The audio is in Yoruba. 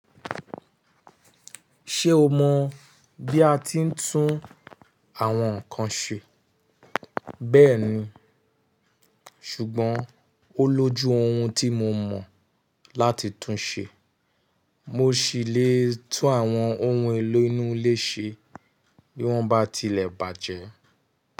Ṣé o mọ̀ bí a ti ń tún àwọn nkan ṣe? Bẹ́ẹ̀ni, ṣùgbọ́n ó lójú ohun tí mo mọ̀ láti tún un ṣe. Mo ṣì lè tún àwọn ohun elénu ilé ṣe bí wọ́n bá tilẹ̀ bàjẹ́.